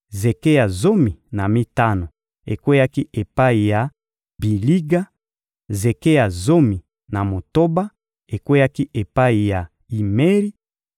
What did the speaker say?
zeke ya zomi na mitano ekweyaki epai ya Biliga; zeke ya zomi na motoba ekweyaki epai ya Imeri;